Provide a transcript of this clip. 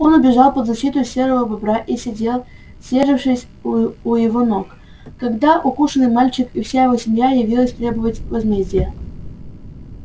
он убежал под защиту серого бобра и сидел съёжившись у его ног когда укушенный мальчик и вся его семья явились требовать возмездия